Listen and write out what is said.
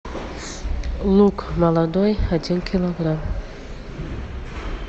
лук молодой один килограмм